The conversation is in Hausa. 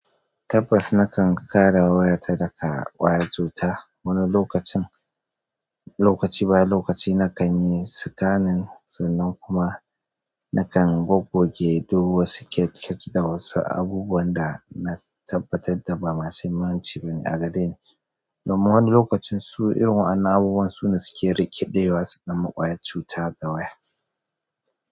Tabbas na kan kare wayata daga ƙwayan cuta. Wani lokacin, lokaci bayan lokaci nakan yi sikanin sannan kuma na kan goggoge duk wasu ket ket da wasu abubuwan da na tabbatar da ba masu muhimmanci bane a gadina. Domin wani lokacin su irin wa'annan abubuwan su ne suke rikeɗewa su zama ƙwayar cuta da waya.